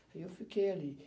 E eu fiquei ali.